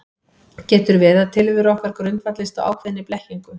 Getur verið að tilvera okkar grundvallist á ákveðinni blekkingu?